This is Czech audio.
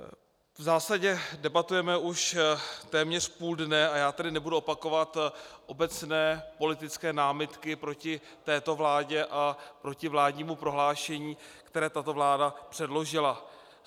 V zásadě debatujeme už téměř půl dne a já tady nebudu opakovat obecné politické námitky proti této vládě a proti vládnímu prohlášení, které tato vláda předložila.